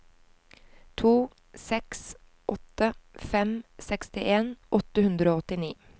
to seks åtte fem sekstien åtte hundre og åttini